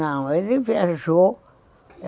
Não, ele viajou.